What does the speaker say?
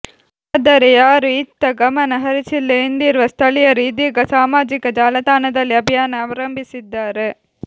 ಆದರೆ ಯಾರೂ ಇತ್ತ ಗಮನ ಹರಿಸಿಲ್ಲ ಎಂದಿರುವ ಸ್ಥಳೀಯರು ಇದೀಗ ಸಾಮಾಜಿಕ ಜಾಲತಾಣದಲ್ಲಿ ಅಭಿಯಾನ ಆರಂಭಿಸಿದ್ದಾರೆ